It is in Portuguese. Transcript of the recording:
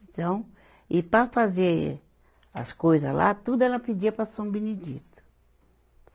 Então, e para fazer as coisa lá, tudo ela pedia para São Benedito.